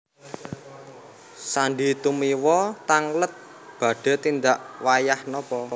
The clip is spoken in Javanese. Sandy Tumiwa tangglet badhe tindak wayah napa